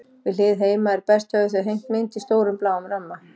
Við hlið heima er best höfðu þau hengt mynd í stórum, bláum ramma.